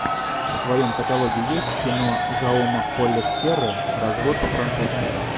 в твоем каталоге есть кино жауме кольет серры развод по французски